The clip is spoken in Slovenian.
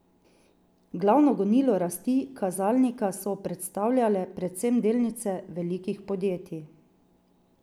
Glavno gonilo rasti kazalnika so predstavljale predvsem delnice velikih podjetij.